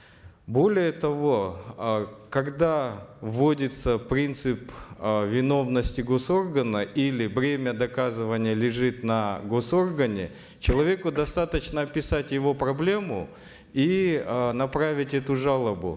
более того э когда вводится принцип э виновности госоргана или бремя доказывания лежит на госоргане человеку достаточно описать его проблему и э направить эту жалобу